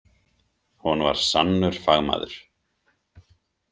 Hún var sannur fagmaður.